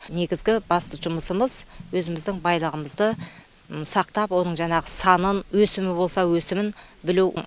негізгі басты жұмысымыз өзіміздің байлығымызды сақтап оның жаңағы санын өсімі болса өсімін білу